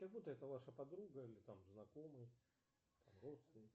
как будто это ваша подруга или там знакомый родственник